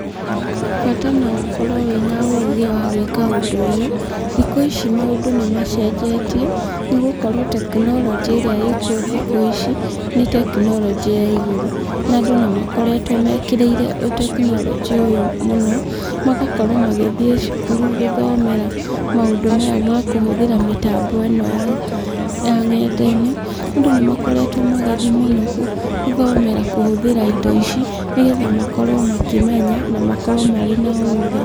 Bata no ũkorwo wĩna ũgĩ wa gwĩka ũndũ ũyũ, thikũ ici maũndũ nĩ macenjetie, nĩ gũkorwo tekinoronjĩ ĩrĩa ĩkuo thikũ ici nĩ tekinoronjĩ ya igũrũ, na andũ nĩ makoragwo mekĩrĩire ũtekinoronjĩ ũyũ mũno, magakorwo magĩthiĩ cukuru gũthomera maũndũ maya ma kũhũthĩra mĩtambo ĩno ya nenda-inĩ, andũ nĩ makoretwo magĩthiĩ mũno gũthomera kũhũthĩta indo ici, nĩgetha makorwo makĩmenya na makorwo marĩ na ũgĩ.